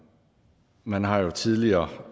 man har jo tidligere